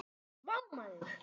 Vá maður!